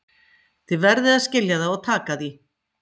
Þið verðið að skilja það og taka því.